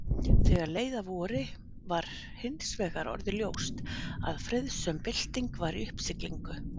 Þegar leið að vori var hinsvegar orðið ljóst að friðsöm bylting var í uppsiglingu.